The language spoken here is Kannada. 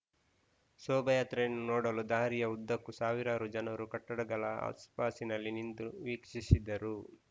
ಶೋಭಾಯಾತ್ರೆಯನ್ನು ನೋಡಲು ದಾರಿಯ ಉದ್ದಕ್ಕೂ ಸಾವಿರಾರು ಜನರು ಕಟ್ಟಡಗಳ ಆಸುಪಾಸಿನಲ್ಲಿ ನಿಂತು ವೀಕ್ಷಿಸಿದರು